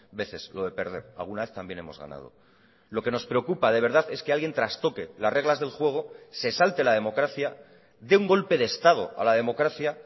veces lo de perder alguna vez también hemos ganado lo que nos preocupa de verdad es que alguien trastoque las reglas del juego se salte la democracia dé un golpe de estado a la democracia